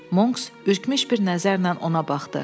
Monks ürkmüş bir nəzərlə ona baxdı.